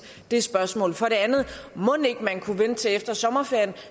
det spørgsmål for det andet mon ikke man kunne vente til efter sommerferien